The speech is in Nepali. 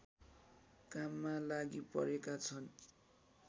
काममा लागि परेकाछन्